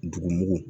Dugumugu